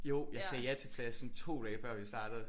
Jo jeg sagde ja til pladsen 2 dage før vi startede